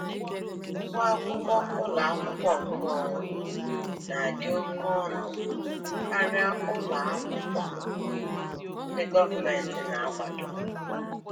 Ụgwọ akwụkwọ ụlọ akwụkwọ nkeonwe na-adị oke ọnụ karịa ụlọ akwụkwọ ndị gọọmentị na-akwado